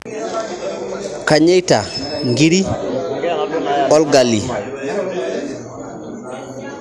Kanyeita nkiri olgalie